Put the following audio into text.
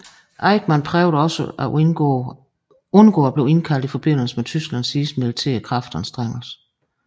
Eichmann prøvede også at undgå at blive indkaldt i forbindelse med Tysklands sidste militære kraftanstrengelse